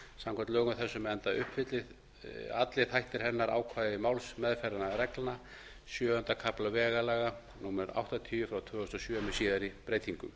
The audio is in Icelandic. samkvæmt lögum þessum enda uppfyllist allir þættir hennar ákvæði málsmeðferðarreglna sjöunda kafla vegalaga númer áttatíu tvö þúsund og sjö frá síðari breytingum